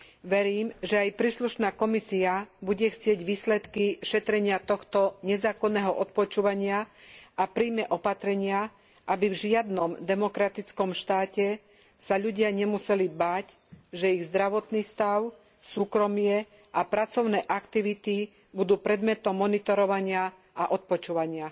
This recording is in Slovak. Verím, že aj príslušná Komisia bude chcieť výsledky šetrenia tohto nezákonného odpočúvania a prijme opatrenia, aby v žiadnom demokratickom štáte sa ľudia nemuseli báť, že ich zdravotný stav, súkromie a pracovné aktivity budú predmetom monitorovania a odpočúvania.